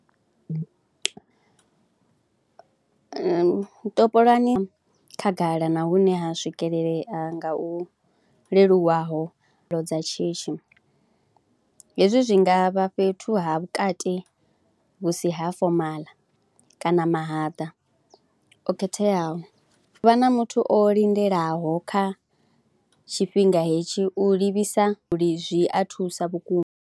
Topolani khagala na hune ha swikelelea nga hu leluwaho dza shishi, hezwi zwi nga vha fhethu ha vhukati vhu si ha fomaḽa kana mahaḓa o khetheaho. U vha na muthu o lindelaho kha tshifhinga hetshi u livhisa zwi a thusa vhukuma.